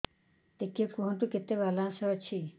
ଟିକେ କୁହନ୍ତୁ କେତେ ବାଲାନ୍ସ ଅଛି